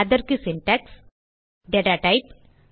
அதற்கு Syntax data type